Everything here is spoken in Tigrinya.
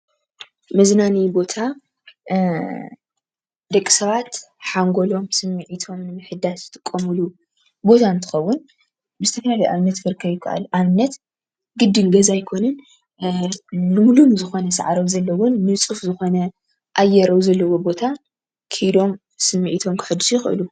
መዝናነዪ ቦታ ደቂ ሰባት ሓንጎሎም፣ ስምዒቶም ንምሕዳሰ ዝጥቀምሉ ቦታ እንትኸዉን ብዝተፋላለየ ኣብነት ክርከብ ይከኣል እዩ። ኣብነት ግድን ገዛ ኣይኮነን ልምሉም ሳዕሪ ኣብ ዘለዎን ንፁህ ኣብ ዝኾነ ኣየር ኣብ ዘለዎ ቦታ ከይዶም ስምዒቶም ከሕድሱ ይኽእሉ::